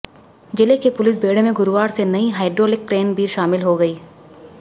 जिले के पुलिस बेड़े में गुरुवार से नई हाईड्रोलिक क्रेन भी शामिल हो गई